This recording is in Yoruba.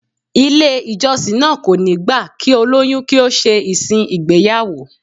Ilé ìjọsìn náà kò ní gbà kí olóyún kí ó ṣe ìsìn ìgbéyàwó